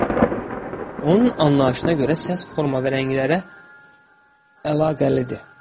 Onun anlayışına görə səs forma və rənglərə əlaqəlidir.